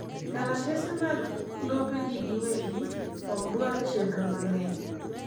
Kalatese mag lope jii giwegi ok dwar chenro mang'eny